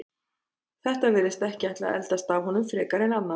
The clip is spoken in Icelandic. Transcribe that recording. Þetta virðist ekki ætla að eldast af honum frekar en annað.